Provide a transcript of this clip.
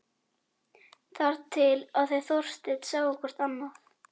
Þar til þau Þorsteinn sáu hvort annað.